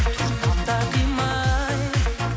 тұрсам да қимай